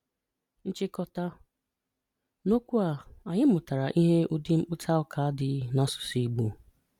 Nchìkọ́tà: N’òkwú a, ànyị̀ mụ̀tárà íhè ụ̀dị̀ mkpụta ụ̀ká dị n’ásụ̀sụ̀ Ìgbò.